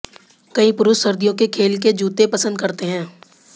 कई पुरुष सर्दियों के खेल के जूते पसंद करते हैं